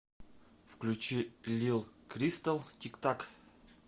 включи лил кристал тик так